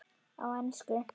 Á ensku